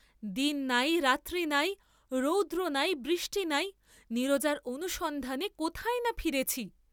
দিন নাই, রাত্রি নাই, রৌদ্র নাই, বৃষ্টি নাই, নীরজার অনুসন্ধানে কোথায় না ফিরেছি?